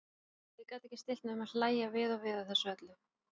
Og ég gat ekki stillt mig um að hlægja við og við að þessu öllu.